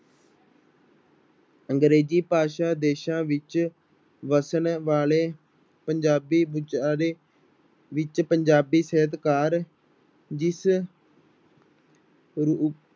ਅੰਗਰੇਜ਼ੀ ਭਾਸ਼ਾ ਦੇਸਾਂ ਵਿੱਚ ਵਸਣ ਵਾਲੇ ਪੰਜਾਬੀ ਵਿਚਾਰੇ ਵਿੱਚ ਪੰਜਾਬੀ ਸਾਹਿਤਕਾਰ ਜਿਸ ਰੂ